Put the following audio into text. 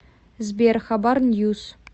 сбер хабар ньюс